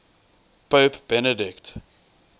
pope benedict